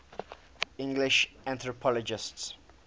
english anthropologists